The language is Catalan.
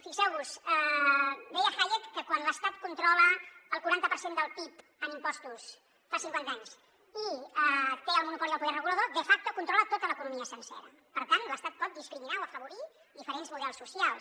fixeu vos deia hayek que quan l’estat controla el quaranta per cent del pib en impostos fa cinquanta anys i té el monopoli del poder regulador de facto controla tota l’economia sencera per tant l’estat pot discriminar o afavorir diferents models socials